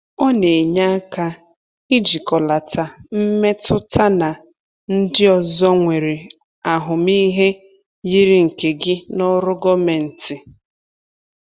Ọ na-enye aka ijikọlata mmetụtana ndị ọzọ nwere ahụmịhe yiri nke gị n’ọrụ gọvanmentị.